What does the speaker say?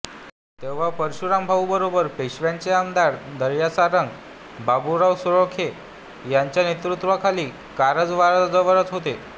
तेव्हा परशुराम भाऊंबरोबर पेशव्यांचे आरमार दर्यासारंग बाबूराव साळोखे यांच्या नेतृत्वाखाली कारवारजवळच होते